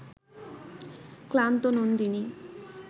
ক্লান্ত নন্দিনী